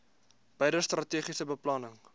beide strategiese beplanning